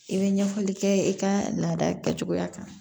I bɛ ɲɛfɔli kɛ i ka laada kɛcogoya kan